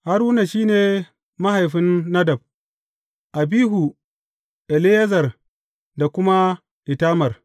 Haruna shi ne mahaifin Nadab, Abihu, Eleyazar da kuma Itamar.